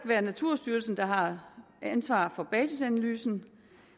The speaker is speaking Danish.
være naturstyrelsen der har ansvaret for basisanalysen